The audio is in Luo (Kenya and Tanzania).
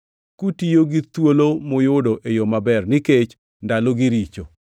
kutiyo gi thuolo muyudo e yo maber, nikech ndalogi richo.